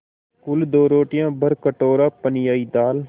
कुल दो रोटियाँ भरकटोरा पनियाई दाल